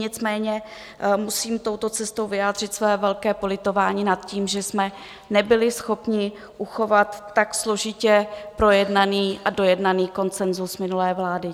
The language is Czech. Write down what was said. Nicméně musím touto cestou vyjádřit své velké politování nad tím, že jsme nebyli schopni uchovat tak složitě projednaný a dojednaný konsenzus minulé vlády.